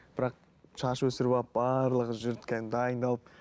бірақ шаш өсіріп алып барлығы жүрді кәдімгі дайындалып